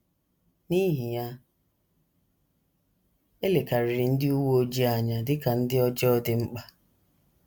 N’ihi ya, e lekarịrị ndị uwe ojii anya dị ka ndị ọjọọ dị mkpa.